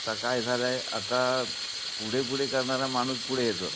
आता काय झाले आता पुढे पुढे करणारा माणूस पुढे येतो.